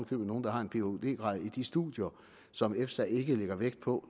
købet nogle der har en phd grad i de studier som efsa ikke lægger vægt på